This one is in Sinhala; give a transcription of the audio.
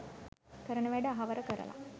කරන වැඩ අහවර කරල